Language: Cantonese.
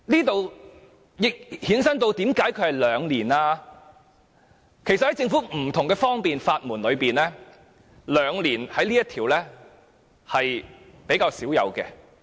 其實，在政府提供的不同的方便之門中，同居兩年這項規定是比較少有的。